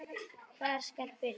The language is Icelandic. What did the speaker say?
Hvar skal byrja.